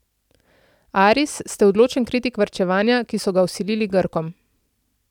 Aris, ste odločen kritik varčevanja, ki so ga vsilili Grkom.